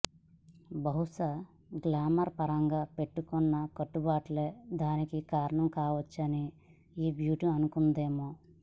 బహుశా గ్లామర్ పరంగా పెట్టుకున్న కట్టుబాట్లే దానికి కారణం కావచ్చని ఈ బ్యూటీ అనుకుందేమో